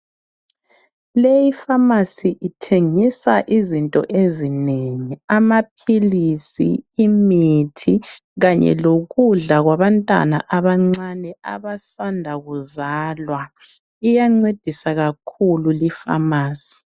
Le ipharmacy ithengisa izinto ezinengi amaphilisi imithi kanye lokudla kwabantwana abasanda kuzalwaiyancedisa kakhululi pharmacy